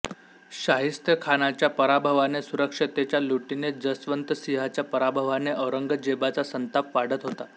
शाहिस्तेखानाच्या पराभवाने सुरतेच्या लुटीने जसवन्तसिंहाच्या पराभवाने औरंगजेबाचा संताप वाढत होता